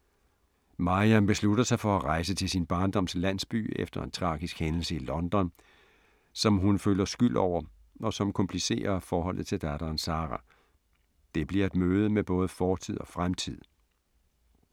Maryam beslutter sig for at rejse til sin barndoms landsby efter en tragisk hændelse i London, som hun føler skyld over og som komplicerer forholdet til datteren Sara. Det bliver et møde med både fortid og fremtid.